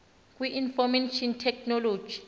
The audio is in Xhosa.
kwi information technology